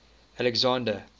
alexander